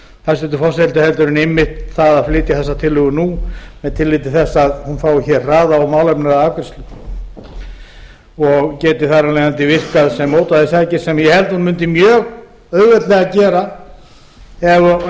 hæstvirtur forseti heldur en einmitt það að flytja þessa tillögu nú með tilliti til þess að hún fái hraða og málefnalega afgreiðslu og geti þar af leiðandi virkað sem mótvægisaðgerð sem ég held að hún mundi mjög auðveldlega gera ef